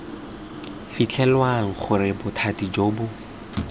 fitlhelwang gore bothati jo bo